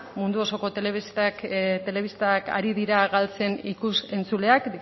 mundu osoko telebistak ari dira galtzen ikus entzuleak